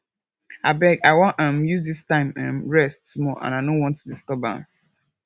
abeg i wan um use dis time um rest small and i no want disturbance